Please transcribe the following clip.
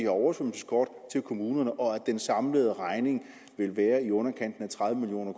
oversvømmelseskort til kommunerne og at den samlede regning vil være i underkanten af tredive million